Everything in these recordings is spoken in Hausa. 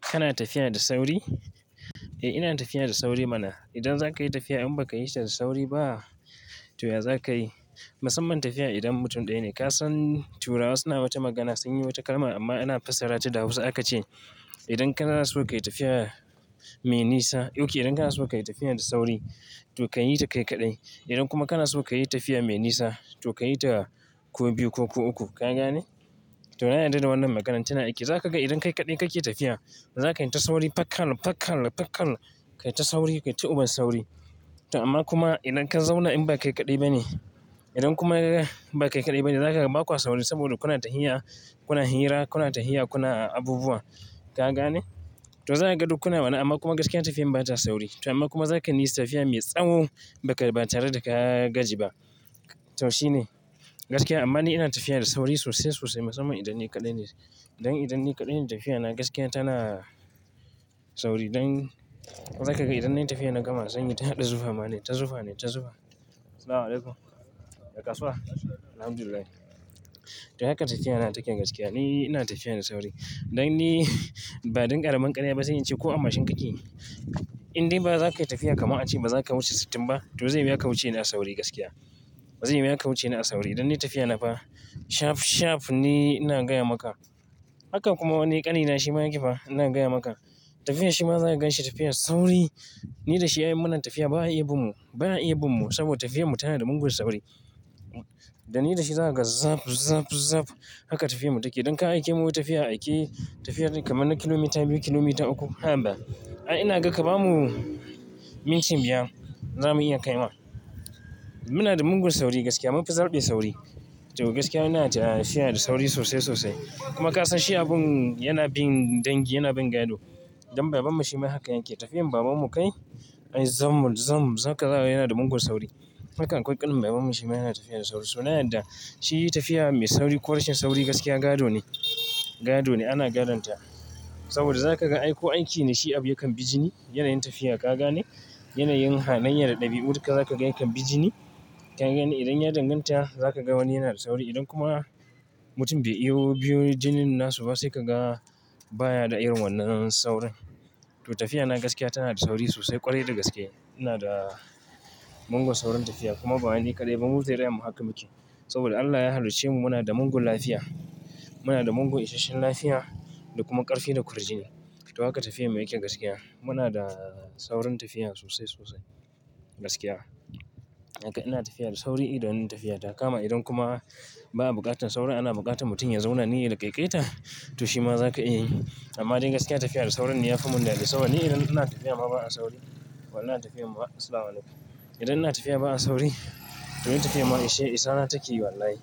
Kana tafiya da sauri? Eh, inayin tafiya da sauri mana. Idan za ka yi tafiya in ba ka yi shi da sauri ba, to ya za ka yi? Musamman tafiya idan mutum ɗaya ne. Ka san turawa suna wata magana, sun yi wata kalma amma ana fassara ta da Hausa aka ce. Idan kana so ka yi tafiya mai nisa, oke idan kana so ka yi tafiya da sauri, to ka yi ta kai kaɗai. Idan kuma kana so ka yi tafiya mai nisa, to ka yi ta ku biyu ko ku uku. Ka gane? To, na yarda da wannan maganar tana aiki. Za ka ga idan kai kaɗai kake tafiya, za ka yi ta sauri fakal, fakal, fakal. Ka yi ta sauri, ka yi ta uban sauri. To amma kuma idan ka zauna in ba kai kaɗai ba ne, idan kuma ba kai kaɗai ba ne, za ka ga ba kwa sauri saboda kuna tahiya, kuna hira, kuna tahiya, kuna abubuwa. Ka gane to zakaga duk kuna wannan. Amman gaskiya tafiyan bata sauri to amman kuma zakayi tafiya mai tsawo ba tare da ka gaji ba to shi ne. Gaskiya amman ni ina tafiya da sauri sosai sosai musamman idan ni kaɗai ne do idan ni kaɗai ne tafiya na gaskiya tana sauri don zaka ga idan nayi tafiyan nagama zanyi ta haɗa zufa ma naita zufa naita zufa sallamu alkalum ya kasuwa alhamdullilahi to haka tafiya na take gaskiya. Ni ina tafiya da sauri. Idan ni, ba don ƙaramin ƙarya ba zanyi ce ko a mashin kake. In dai ba za ka yi tafiya kama a ce ba za ka wuce sittin ba. To zai yi maka wuce ni a sauri gaskiya. Zai yi wuya ka wuce ni a sauri. Idan ni tafiya na ba, shaf shaf ni ina gaya maka. Haka kuma wani ƙani na shi ma yake fa ina gaya maka. Tafiya shi ma za ka ganshi tafiya sauri, ni da shi ayi munan tafiya ba'a iya bin mu, ba'a iya bin mu saboda tafiya mu tana da mungun sauri. Da ni da shi za ka ga zap, zap, zap. Haka tafiya mu take. Idan ka aike mu yi tafiya, aike tafiya kamar na kilomita biyu, kilomita uku. Ha ba. Ayi inaga ka bamu minti biyar za iya kai ma munada mugun sauri gaskiya mufi zarɓe sauri to gaskiya ina tafiya da sauri sosai, sosai. Kuma ka san shi abun yana bin dangi, yana bin gado. Idan baban mu shi ma haka yake. Tafiyan baban mu kai, ai zam, zam, zaka ga yana da mungun sauri. Haka akwai ƙanin baban mu shima yana tafiya da sauri sauri shima na yarda shi tafiya mai sauri ko ince sauri gaskiya gadone gadone ana gadon ta saboda za ka ga aiko aiki ne shi abu ya kan bijini yanayin tafiya. Ka gane? Yanayin halaiya da ɗabi'u duka za ka ga ya kan bijini. Ka gane idan ya danganta za ka ga wani yana da sauri. Idan kuma mutum bai iyo biyun jinin nasu ba sai ka ga baya da irin wannan saurin. To tafiya na gaskiya tana da sauri sosai ƙwarai da gaske. Ina da mungun saurin tafiya kuma ba wai ni kaɗai ba mu zuri'amu haka muke. Saboda Allah ya halicce mu muna da mungun lafiya. Muna da mungun isasshen lafiya da kuma ƙarfi da kurjini. To haka tafiya mu yake gaskiya. Muna da saurin tafiya sosai, sosai gaskiya. Haka ina tafiya da sauri idan ina tafiya. Kama idan kuma ba'a buƙatar sauri ana buƙatar mutum ya zauna ne ya laƙaiƙaita to shi ma za ka iya yi. Amma dai gaskiya tafiya da saurin ne ya fi mu dadi saboda ni idan ina tafiya ma ba a sauri, idan ina tafiya ma sallama alaikum idan ina tafiya ba a sauri, to ni tafiya ma ishe isana take yi wallahi.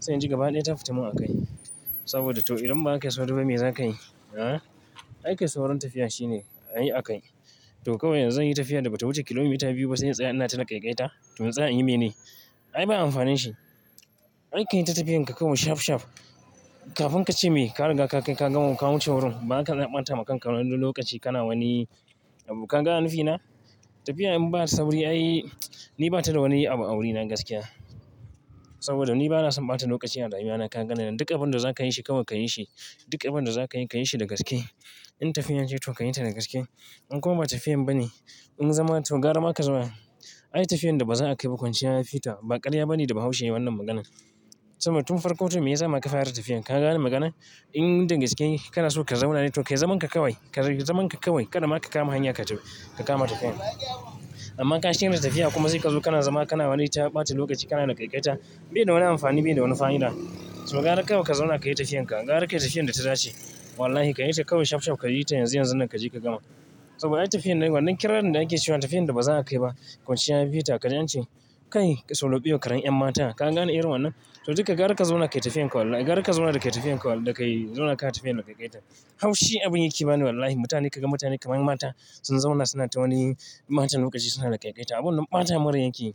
Sai in ji gaba ɗaya ta fita mun a kai. Saboda to idan ba kayi sauri ba to mai za ka yi? Aa? Ai kai saurin tafiya shine a yi a kai. To kawai yanzu inyi tafiya da bata wuce kilomita biyu ba sai in tsaya ina tana laƙaiƙaita. To in tsaya inyi mene? Ai ba amfanin shi. Ai ka yi ta tafiyan ka kawai shaf shaf. Kafin kace me kariga ka kai kaganma kawuce wurin baka zaka ɓatama kanka lokaci ka na wani kagane nufina. Tafiya in ba sauri ai, ni ba ta da wani abu a wurina gaskiya. Saboda ni bana son ɓata lokaci a rayuna ka gani nan. Dukkan abin da za ka yi shi kawai ka yi shi. Dukkan abin da za ka yi, ka yi shi da gaske. In tafiya ce to ka yi ta da gaske. In kuma ba tafiya ba ne, in zama to gara ma ka zauma. Ai tafiyan da ba za a kai ba kwanciya ya fi ta. Ba ƙarya ba ne da baushe yayi wannan maganan. Saboda tun farko to me yasama ka fara tafiyan. Ka gane maganan? In da gaske kana so ka zauna ne to kai zaman ka kawai. Kai zaman ka kawo. Kada ma ka kama hanya ka tafi, ka kama tafiyan. Amma ka shirya tafiya kuma sai ka zo kana zama kana wani ta ɓata lokaci kana laƙaiƙaita bai da wani amfani, bai da wani fa'ida. To gara kawai ka zauna ka yi tafiyan ka. Gara ka yi tafiyan da ta dace. Wallahi ka yi ta kawai shaf shaf ka yi ta yanzu yanzu nan ka ji ka gama. Saboda ai tafiyan wannan kirarin da ake cewa tafiyan da ba za a kai ba kwanciya ya fi ta. Ka ji an ce? Kai solo biyo karen ƴan mata. Ka gane irin wannan? To dukka gara ka zauna ka yi tafiyan ka wallahi. Gara ka zauna da ka yi tafiyan ka da ka yi zauna ka yi tafiyan da laƙaiƙaita. Haushi abun yake ba ne wallahi. Mutane kaga mutane kamar mata sun zauna suna ta wani matan lokaci suna da laƙaiƙaita. Abun ɓata mun rai yake yi.